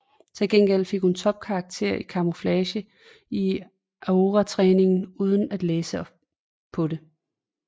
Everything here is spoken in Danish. Til gengæld fik hun topkarakterer i Camouflage til Aurortræningen uden at læse på det